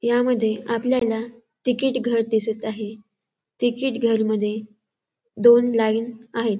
यामध्ये आपल्याला तिकीट घर दिसत आहे. तिकीट घर मध्ये दोन लाईन आहेत.